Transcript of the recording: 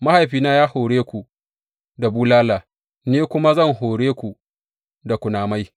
Mahaifina ya hore ku da bulala; ni kuwa zan hore ku da kunamai.’